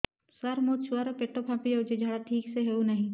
ସାର ମୋ ଛୁଆ ର ପେଟ ଫାମ୍ପି ଯାଉଛି ଝାଡା ଠିକ ସେ ହେଉନାହିଁ